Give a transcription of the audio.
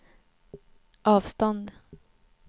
avstånd